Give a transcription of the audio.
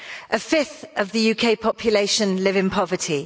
A fifth of the UK population live in poverty.